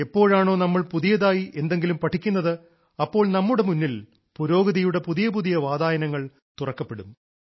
എപ്പോഴാണോ നമ്മൾ പുതിയതായി എന്തെങ്കിലും പഠിക്കുന്നത് അപ്പോൾ നമ്മുടെ മുന്നിൽ പുരോഗതിയുടെ പുതിയ പുതിയ വാതായനങ്ങൾ തുറക്കപ്പെടും